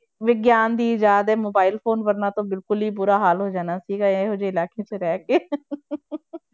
ਵਿਗਿਆਨ ਦੀ ਇਜ਼ਾਦ ਹੈ mobile phone ਵਰਨਾ ਤਾਂ ਬਿਲਕੁਲ ਹੀ ਬੁਰਾ ਹਾਲ ਹੋ ਜਾਣਾ ਸੀਗਾ ਇਹੋ ਜਿਹੇ ਇਲਾਕੇ 'ਚ ਰਹਿ ਕੇ